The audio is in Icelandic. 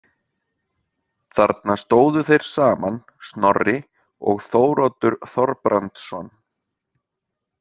Þarna stóðu þeir saman Snorri og Þóroddur Þorbrandsson.